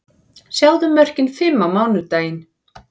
Sjáðu mörkin fimm á mánudaginn: